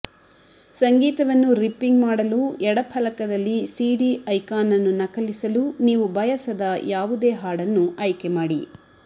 ಸಂಗೀತವನ್ನು ರಿಪ್ಪಿಂಗ್ ಮಾಡಲು ಎಡ ಫಲಕದಲ್ಲಿ ಸಿಡಿ ಐಕಾನ್ ಅನ್ನು ನಕಲಿಸಲು ನೀವು ಬಯಸದ ಯಾವುದೇ ಹಾಡನ್ನು ಆಯ್ಕೆ ಮಾಡಿ